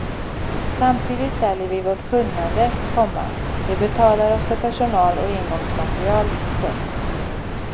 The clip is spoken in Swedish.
Samtidigt säljer vi vårt kunnande, komma de betalar oss för personal och engångsmaterial. punkt